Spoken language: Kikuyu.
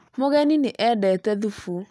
Mũgeni nĩ endete thũfu